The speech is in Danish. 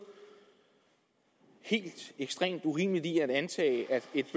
helt ekstremt urimeligt i at antage at et